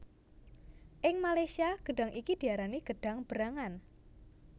Ing Malaysia gedhang iki diarani gedhang berangan